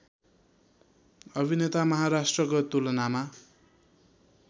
अभिनेता महाराष्ट्रको तुलनामा